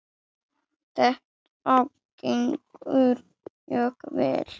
Þetta gengur mjög vel.